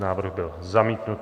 Návrh byl zamítnut.